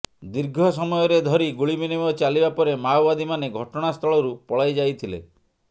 ଦୀର୍ଘ ସମୟରେ ଧରି ଗୁଳି ବିନିମୟ ଚାଲିବା ପରେ ମାଓବାଦୀମାନେ ଘଟଣାସ୍ଥଳରୁ ପଳାଇଯାଇ ଥିଲେ